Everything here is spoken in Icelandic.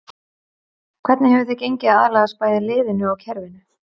Hvernig hefur þér gengið að aðlagast bæði liðinu og kerfinu?